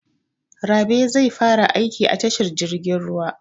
Rabe zai fara aiki a tashar jirgin ruwa.